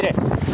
Bu biri.